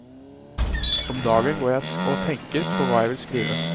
Om dagen går jeg og tenker på hva jeg vil skrive.